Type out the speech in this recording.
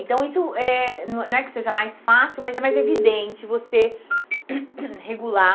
Então, isso eh não é que seja mais fácil, mas é mais evidente você regular